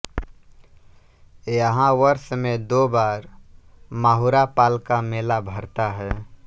यहाँ वर्ष में दो बार माहुरा पाल का मेला भरता है